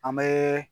An bɛ